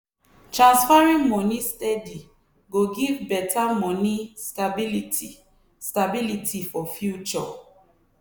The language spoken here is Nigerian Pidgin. transferring moni steady go give better money stability stability for future.